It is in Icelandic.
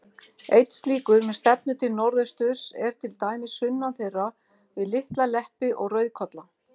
Einn slíkur, með stefnu til norðausturs, er til dæmis sunnan þeirra, við Litla-Leppi og Rauðkolla.